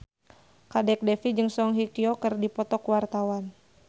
Kadek Devi jeung Song Hye Kyo keur dipoto ku wartawan